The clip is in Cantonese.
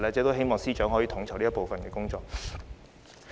我希望司長能夠統籌這部分的工作。